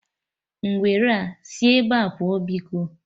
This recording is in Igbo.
Ngwere a, sị ebea pụọ biko!